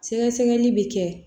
Sɛgɛsɛgɛli bɛ kɛ